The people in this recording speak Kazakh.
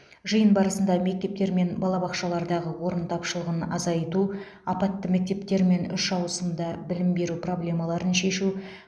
жиын барысында мектептер мен балабақшалардағы орын тапшылығын азайту апатты мектептер мен үш ауысымды білім беру проблемаларын шешу